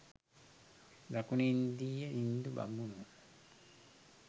දකුනු ඉන්දීය හිංදු බමුණෝ